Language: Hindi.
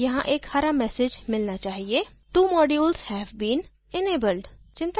हमें यहाँ एक हरा message मिलना चाहिए2 modules have been enabled